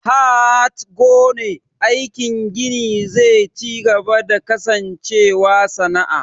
HHat ggone aikin gini ze cigaba da kasancewa sana'a.